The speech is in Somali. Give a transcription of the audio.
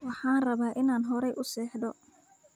Waxaan rabaa inaan hore u seexdo